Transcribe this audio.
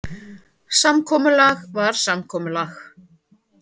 Samkomulag var samkomulag.